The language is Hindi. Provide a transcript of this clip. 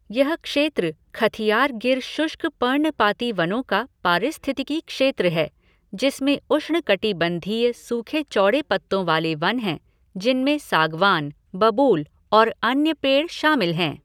यह क्षेत्र खथियार गिर शुष्क पर्णपाती वनों का पारिस्थितिकी क्षेत्र है जिसमें उष्णकटिबंधीय सूखे चौड़े पत्तों वाले वन हैं जिनमें सागवान, बबूल और अन्य पेड़ शामिल हैं।